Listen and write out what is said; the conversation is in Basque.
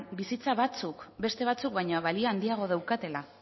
bizitza batzuk beste batzuk baino balio handiagoa daukatela